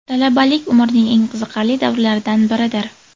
Talabalik − umrning eng qiziqarli davrlaridan biridir.